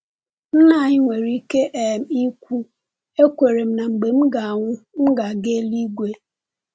Nna anyị nwere ike um ikwu, “Ekwere m na mgbe m nwụrụ, m ga-aga elu-igwe.”